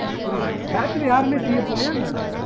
அது புரியுது batch ல யாருமே CA போலையா